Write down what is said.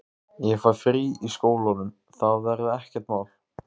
Ég fæ frí í skólanum, það verður ekkert mál.